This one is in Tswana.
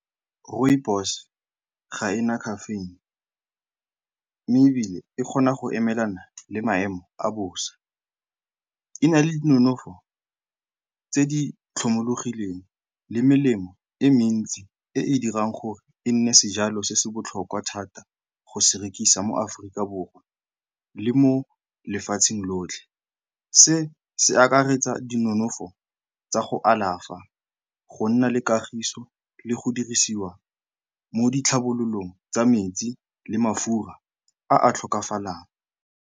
Rooibos ga ena caffeine mme ebile e kgona go emelana le maemo a bosa. E na le dinonofo tse di tlhomologileng le melemo e mentsi e e dirang gore e nne sejalo se se botlhokwa thata go se rekisa mo Aforika Borwa le mo lefatsheng lotlhe. Se se akaretsa dinonofo tsa go alafa, go nna le kagiso le go dirisiwa mo ditlhabololong tsa metsi le mafura a a tlhokafalang.